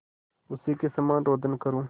उसी के समान रोदन करूँ